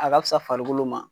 A ka fisa farikolo ma